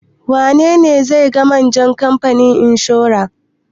Wane ne zai ga manjan kamfanin inshora?